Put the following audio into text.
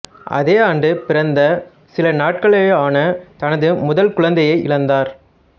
அதே ஆண்டு பிறந்த சில நாட்களேயான தனது முதல் குழந்தையை இழந்தார்